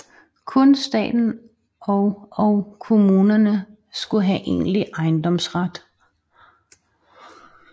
Kun staten og og kommunerne skulle have egentlig ejendomsret